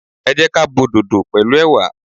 Ẹ jẹ́ ka bo dodo pẹ̀lú ẹwà.